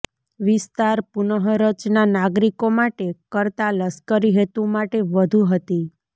વિસ્તાર પુનઃરચના નાગરિકો માટે કરતાં લશ્કરી હેતુ માટે વધુ હતી